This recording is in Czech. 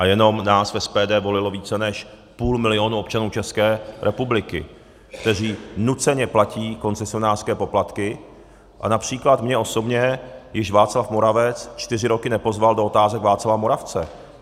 A jenom nás, v SPD, volilo více než půl milionů občanů České republiky, kteří nuceně platí koncesionářské poplatky, a například mě osobně již Václav Moravec čtyři roky nepozval do Otázek Václava Moravce.